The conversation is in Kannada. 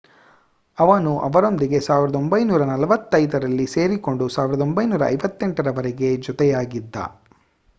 ಅವನು ಅವರೊಂದಿಗೆ 1945ರಲ್ಲಿ ಸೇರಿಕೊಂಡು 1958ರವರೆಗೆ ಜೊತೆಯಾಗಿದ್ದ